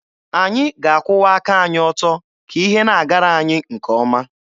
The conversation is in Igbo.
Anyị ga-akwụwa aka anyị ọtọ ka ihe na-agara anyị nke ọma.